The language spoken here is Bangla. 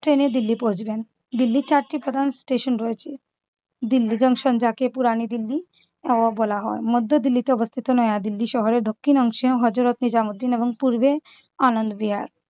ট্রেনে দিল্লি পৌঁছবেন? দিল্লির চারটি প্রধান স্টেশন রয়েছে । দিল্লি জংশন যাকে পুরনো দিল্লির নবাব বলা হয়। মধ্য দিল্লিতে অবস্থিত নয়া দিল্লি শহরের দক্ষিণ অংশে হযরত নিজামুদ্দিন এবং পূর্বে আনন্দ বিহার।